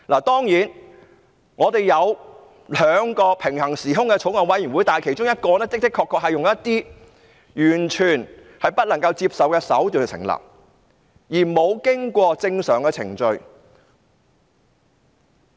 當然，我們有兩個平行時空的法案委員會，而其中一個確實是採用完全不能接受的手段成立，並無經過正常程序。